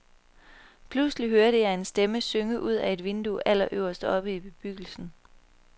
Pludselig hørte jeg en stemme synge ud ad et vindue allerøverst oppe i bebyggelsen.